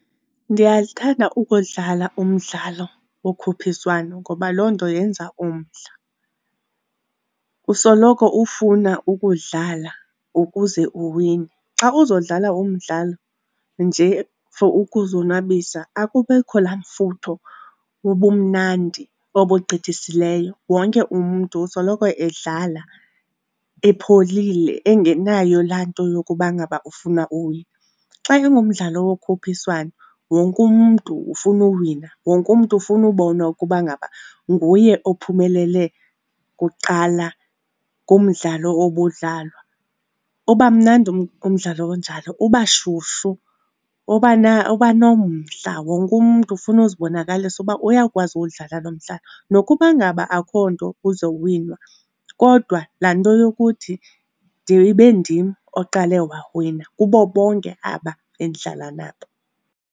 Ndiyalithanda ukudlala umdlalo wokhuphiswano ngoba loo nto yenza umdla, usoloko ufuna ukudlala ukuze uwine. Xa uzodlala umdlalo nje for ukuzonwabisa akubikho laa mfutho wobumnandi obugqithisileyo, wonke umntu usoloko edlala epholile engenayo laa nto yokuba ngaba ufuna uwina. Xa ingumdlalo wokhuphiswano, wonke umntu ufuna uwina, wonke umntu ufuna ubonwa ukuba ngaba nguye ophumelele kuqala kumdlalo obudlalwa. Uba mnandi umdlalo onjalo, uba shushu, uba nomdla, wonke umntu ufuna uzibonakalisa uba uyakwazi uwudlala lo mdlalo. Nokuba ngaba akho nto izowinwa, kodwa laa nto yokuthi ndibe ndim oqale wawina kubo bonke aba endidlala nabo.